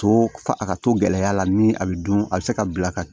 To fa a ka to gɛlɛya la min a bɛ dun a bɛ se ka bila ka